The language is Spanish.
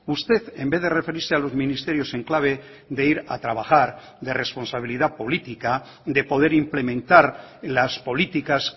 usted en vez de referirse a los ministerios en clave de ir a trabajar de responsabilidad política de poder implementar las políticas